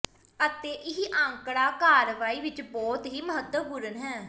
ਅਤੇ ਇਹ ਅੰਕੜਾ ਕਾਰਵਾਈ ਵਿੱਚ ਬਹੁਤ ਹੀ ਮਹੱਤਵਪੂਰਨ ਹੈ